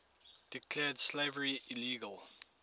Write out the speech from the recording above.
declared slavery illegal